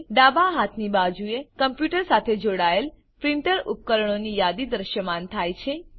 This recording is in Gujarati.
ડાબા હાથની બાજુએ કમ્પ્યુટર સાથે જોડાયેલ પ્રીંટર ઉપકરણોની યાદી દૃશ્યમાન થાય છે